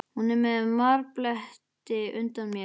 Hún er með marbletti undan mér.